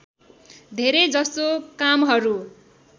धेरै जसो कामहरू